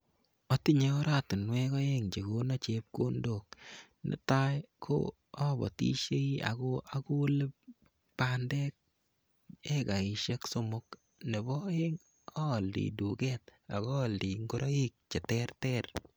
Atinyei oratinwek oeng che kono chepkondok. Netai ko abatishei ako akole bandek ekaishek somok nebo oeng aaldei duket ako aaldei ngoroik che terter.